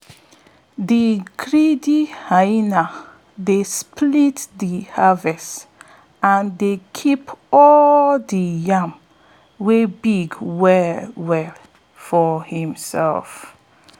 de greedy hyena dey split de harvest and dey keep all de yam wey big well well for himself